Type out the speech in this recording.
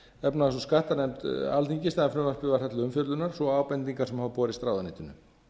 efnahags og skattanefnd alþingis þegar frumvarpið var þar til umfjöllunar svo og ábendingar sem hafa borist ráðuneytinu